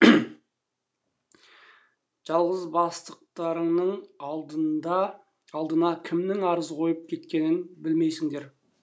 жалғыз бастықтарыңның алдына кімнің арыз қойып кеткенін білмейсіңдер